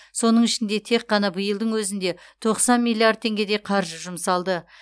соның ішінде тек қана биылдың өзінде тоқсан миллиард теңгедей қаржы жұмсалды